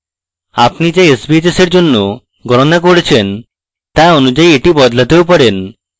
আপনি যা sbhs এর জন্য গণনা করেছেন তা অনুযায়ী এটি বদলাতেও পারেন